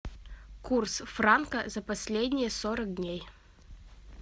курс франка за последние сорок дней